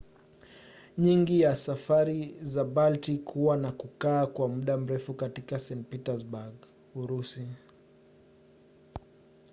nyingi ya safari za baltic huwa na kukaa kwa muda mrefu katika st. petersburg urusi